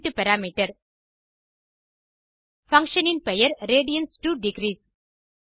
உள்ளீட்டு parameter function இன் பெயர் radians2டிக்ரீஸ்